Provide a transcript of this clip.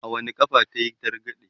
a wani ƙafa kayi targaɗe?